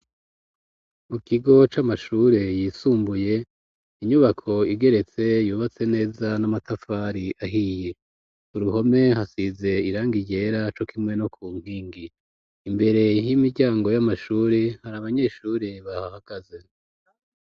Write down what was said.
Mu kigo, c'amashure yisumbuye, inyubako igeretse, yubatse neza, n'amatafari ahiye; uruhome, hasize irangi ryera, co kimwe no ku nkingi; imbere y'imiryango, y'amashuri, hari abanyeshure bahahagaze.